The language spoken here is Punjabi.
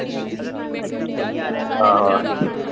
ਆਹੋ ਆਹੋ।